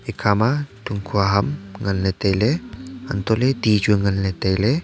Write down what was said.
ekha ma thungkhua ham ngan ley tailey untoh ley ti chu ngan ley tailey.